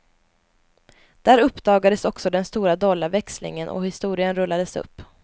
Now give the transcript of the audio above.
Där uppdagades också den stora dollarväxlingen och historien rullades upp.